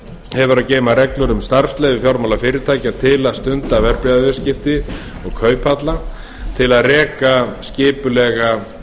hefur að geyma reglur um starfsleyfi fjármálafyrirtækja til að stunda verðbréfaviðskipti og kauphalla til að reka skipulega